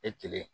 E kelen